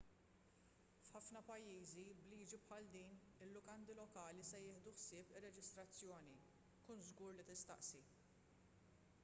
f’ħafna pajjiżi b’liġi bħal din il-lukandi lokali se jieħdu ħsieb ir-reġistrazzjoni kun żgur li tistaqsi